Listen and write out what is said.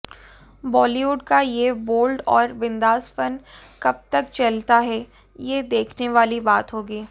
बॉलीवुड का ये बोल्ड और बिंदासपन कब तक चलता है ये देखने वाली बात होगी